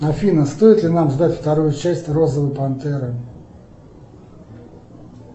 афина стоит ли нам ждать вторую часть розовой пантеры